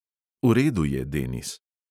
V redu je, denis.